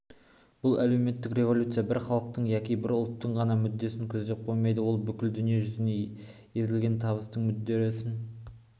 әлеуметтік революция бір халықтың яки бір ұлттың ғана мүддесін көздеп қоймайды ол бүкіл дүние жүзі езілген табының мүддесін